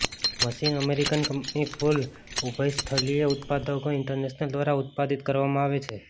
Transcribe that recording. machine American company કૂલ ઉભયસ્થલીય ઉત્પાદકો ઇન્ટરનેશનલ દ્વારા ઉત્પાદિત કરવામાં આવે છે